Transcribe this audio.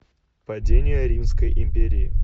падение римской империи